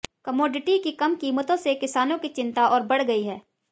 commodity की कम कीमतों से किसानों की चिंता और बढ़ गई है